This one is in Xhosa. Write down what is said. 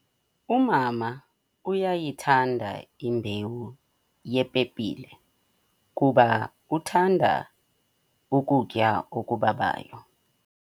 Umama uyayithanda imbewu yepepile kuba uthanda ukutya okubabayo.